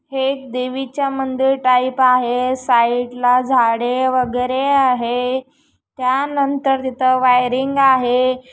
हे एक देविचा मंदिर टाइप आहे साइड ला झाडे वगैरे आहे त्या नंतर तिथ वायरिंग आहे.